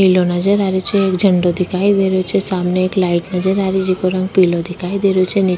पिले नजर आ रही छे एक झंडो दिखाई दे रही छे सामने एक लाइट नजर आ री छे जेको रंग पिला दिखाई दे रही छे।